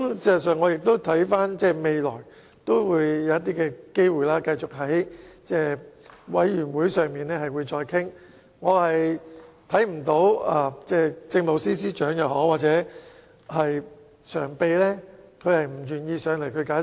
事實上，我們未來可以繼續在聯合小組委員會會議上討論，我看不到政務司司長及民政事務局常任秘書長不願意出席會議解釋。